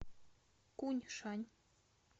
куньшань